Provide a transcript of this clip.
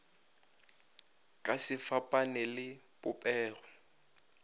ka se fapane le popego